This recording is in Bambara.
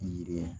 Yiriden